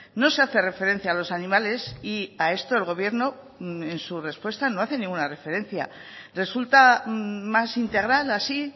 no se hace referencia a los animales y a esto el gobierno en su respuesta no hace ninguna referencia resulta más integral así